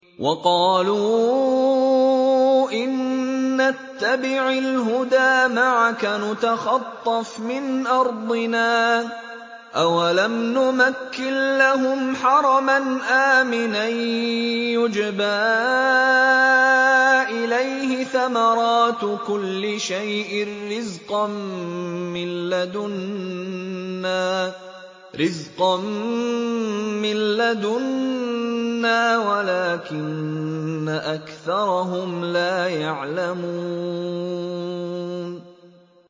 وَقَالُوا إِن نَّتَّبِعِ الْهُدَىٰ مَعَكَ نُتَخَطَّفْ مِنْ أَرْضِنَا ۚ أَوَلَمْ نُمَكِّن لَّهُمْ حَرَمًا آمِنًا يُجْبَىٰ إِلَيْهِ ثَمَرَاتُ كُلِّ شَيْءٍ رِّزْقًا مِّن لَّدُنَّا وَلَٰكِنَّ أَكْثَرَهُمْ لَا يَعْلَمُونَ